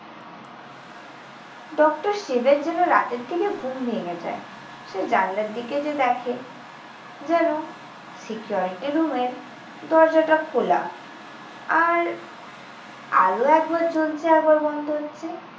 Doctor শিবের জন্য রাতের থেকে ঘুম ভেঙে যায়। সে জানলার দিকে যেয়ে দেখে যেন security রুমের দরজাটা খোলা। আর আলো একবার জ্বলছে আরেকবার বন্ধ হচ্ছে।